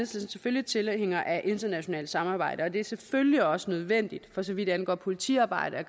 selvfølgelig tilhænger af internationalt samarbejde og det er selvfølgelig også nødvendigt for så vidt angår politiarbejdet